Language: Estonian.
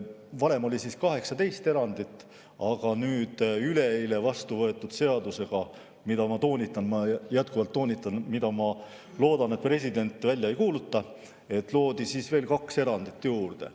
Varem oli 18 erandit, aga üleeile vastu võetud seadusega, mida, ma loodan – toonitan, jätkuvalt toonitan –, president välja ei kuuluta, loodi veel kaks erandit juurde.